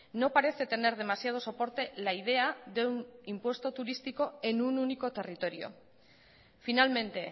no parece tener demasiado soporte la idea de un impuesto turístico en un único territorio finalmente